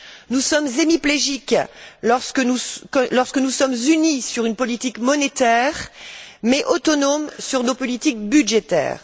Nous sommes hémiplégiques lorsque nous sommes unis sur une politique monétaire mais autonomes sur nos politiques budgétaires.